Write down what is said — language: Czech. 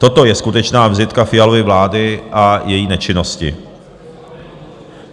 Toto je skutečná vizitka Fialovy vlády a její nečinnosti.